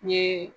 N ye